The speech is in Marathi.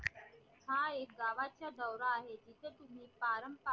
हा एक गावाचा दौरा आहे तिथ तुम्ही पारंपारिक